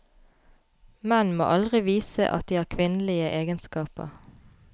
Menn må aldri vise at de har kvinnelige egenskaper.